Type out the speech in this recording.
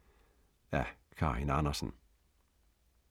Af Karin Andersen